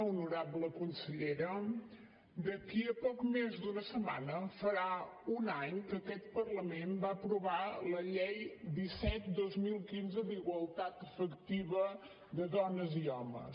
honorable consellera d’aquí a poc més d’una setmana farà un any que aquest parlament va aprovar la llei disset dos mil quinze d’igualtat efectiva de dones i homes